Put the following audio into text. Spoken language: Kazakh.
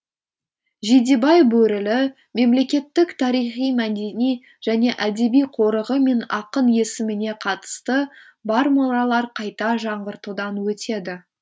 жидебай бөрілі мемлекеттік тарихи мәдени және әдеби қорығы мен ақын есіміне қатысы бар мұралар қайта жаңғыртудан өтеді